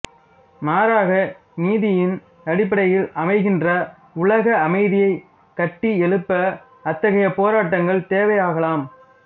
மாறாக நீதியின் அடிப்படையில் அமைகின்ற உலக அமைதியைக் கட்டி எழுப்ப அத்தகைய போராட்டங்கள் தேவையாகலாம்